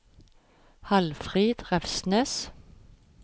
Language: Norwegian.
Halfrid Refsnes